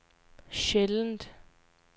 sjældent